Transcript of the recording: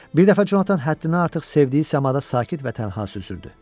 Bir dəfə Conatan həddini artıq sevdiyi səmada sakit və tənha süzürdü.